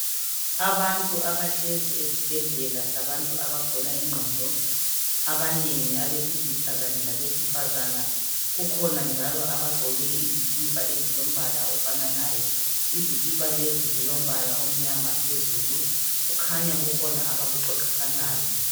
Abantu abahlezi esibhedlela sabantu abagula ingqondo ,abanengi abesilisa kanye labesifazana. Kukhona njalo abagqoke izikhipha ezilombala ofananayo .Izikhipha lezi zilombala omnyama phezulu, kukhanya kukhona abakuxoxisanayo .